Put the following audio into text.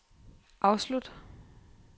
afslut